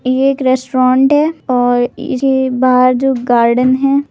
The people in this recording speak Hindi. ये एक रेस्टोरेंट है और ये जो बाहर जो गार्डन है --